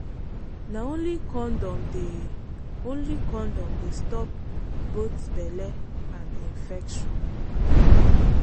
na only condom dey only condom dey stop both belle and infection.